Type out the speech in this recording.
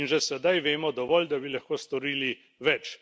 In že sedaj vemo dovolj, da bi lahko storili več.